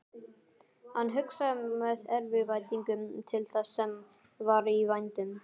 Hann hugsaði með eftirvæntingu til þess sem var í vændum.